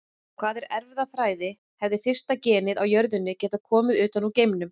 Hvað er erfðafræði Hefði fyrsta genið á jörðinni getað komið utan úr geimnum?